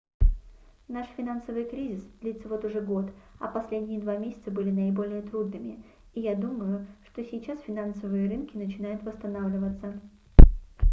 наш финансовый кризис длится вот уже год а последние два месяца были наиболее трудными и я думаю что сейчас финансовые рынки начинают восстанавливаться